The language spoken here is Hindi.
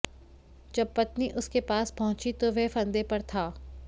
जब पत्नी उसके पास पहुंची तो वह फंदे पर था